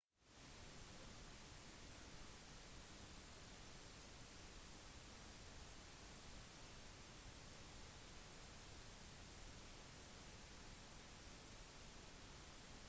barn utvikler ganske tidlig en bevissthet rundt rase og rasemessige fordommer og disse rasemessige fordommene påvirker adferd